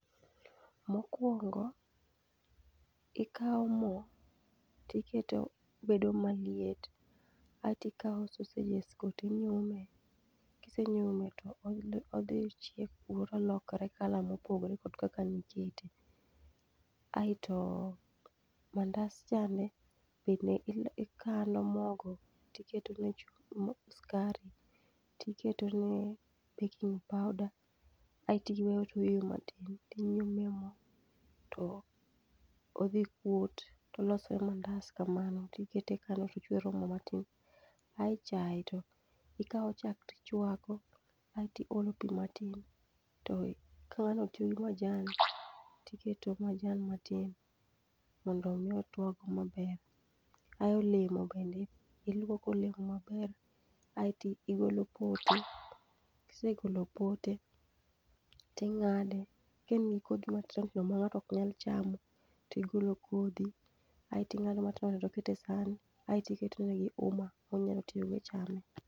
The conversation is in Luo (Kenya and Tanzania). Mokwongo ikawo mo tiketo bedo maliet, aetikawo sausages go tinyume. Kise nyume to odhi chiek kuro tolokre colour mopogre gi kaka nikete. Aeto mandas chande bende ikano mogo tiketone skari, tiketone baking powder, aeti weyo oyweyo matin. Tinyume mo to odhi kuot tolosre mandas kamano tikete tochwero mo matin. Ae chae to ikawo chak tichwako, aeti olo pi matin, to kono tiolo majan, tiketo majan matin mondo mi otuag maber. Ae olemo bende, ilwoko olemo maber, aeti igolo pote. Kisegolo pote, ting'ade, kaen gi kodhi matindo tindo ma ng'ato ok nyal chamo tigolo kodhi. Aeti ng'ado matindo tindo ikete san, aetiketone gi uma monyalo tiyogo e chame.